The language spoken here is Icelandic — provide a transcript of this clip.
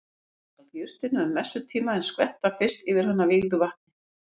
Taka skal jurtina um messutíma en skvetta fyrst yfir hana vígðu vatni.